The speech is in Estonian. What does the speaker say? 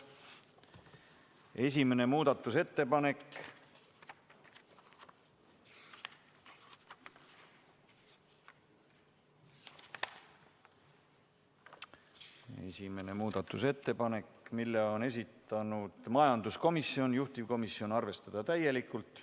1. muudatusettepanek, mille on esitanud majanduskomisjon, juhtivkomisjon: arvestada täielikult.